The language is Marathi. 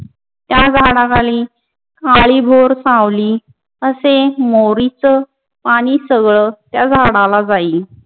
त्या झाडाखाली काळीबोर सावली असे मोरीच पानी सगळ त्या झाडाला जायील.